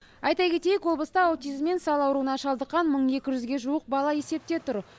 айта кетейік облыста аутизм мен сал ауруына шалдыққан мың екі жүзге жуық бала есепте тұр